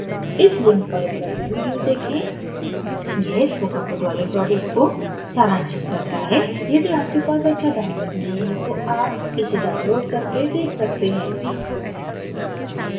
इस लिंक पर उपलब्ध video देखें: